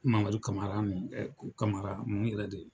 Mamadu kamara ɛɛ kamara mun yɛrɛ de.